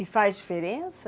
E faz diferença?